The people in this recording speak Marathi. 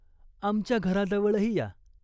आमच्या घराजवळही या.